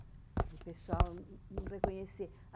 De pessoal não não reconhecer.